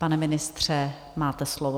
Pane ministře, máte slovo.